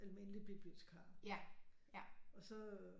Almindelig bibliotikar og så